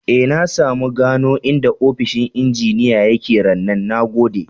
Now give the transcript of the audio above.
E, na samu gano inda ofishin injiniya ya ke rannan. Na gode.